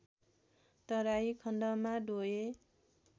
तराई खण्डमा डोय